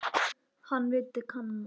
Hann vildi kanna.